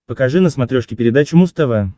покажи на смотрешке передачу муз тв